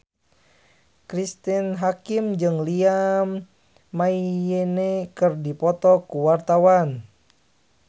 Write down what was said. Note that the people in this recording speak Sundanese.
Cristine Hakim jeung Liam Payne keur dipoto ku wartawan